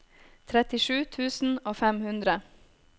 trettisju tusen og fem hundre